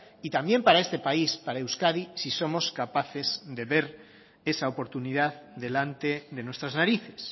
y también para este país para euskadi si somos capaces de ver esa oportunidad delante de nuestras narices